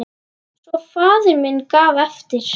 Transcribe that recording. Svo faðir minn gaf eftir!